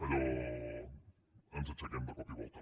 allò ens aixequem de cop i volta